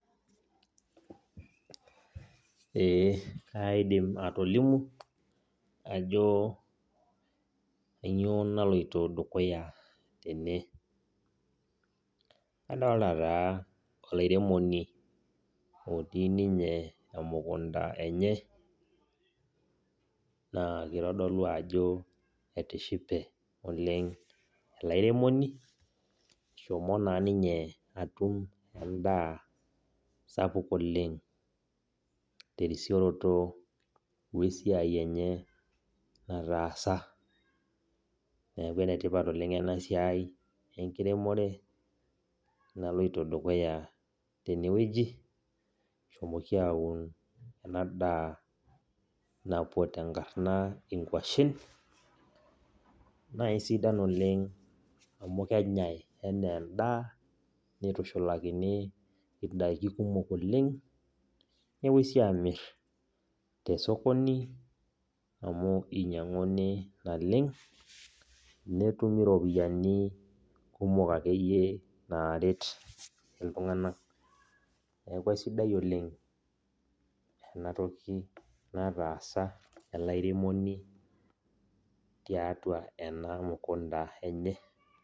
Ee kaidim atolimu ajo kanyioo naloito dukuya tene. Kadolta taa olairemoni otii ninye emukunda enye, naa kitodolu ajo etishipe oleng ele airemoni, eshomo naa ninye atum endaa sapuk oleng terisioroto wesiai enye nataasa. Neeku enetipat oleng enasiai enkiremore, naloito dukuya tenewueji. Eshomoki aun ena daa napuo tenkarna inkwashen, naa isidan oleng amu kenyai enaa endaa, nitushulakini idaiki kumok oleng, nepoi si amir tesokoni, amu inyang'uni naleng, netumi ropiyiani kumok akeyie naret iltung'anak. Neeku aisidai oleng enatoki nataasa ele airemoni tiatua ena mukunda enye.